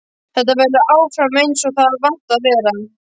Þetta verður áfram einsog það er vant að vera.